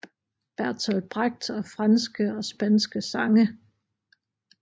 Bertolt Brecht og franske og spanske sange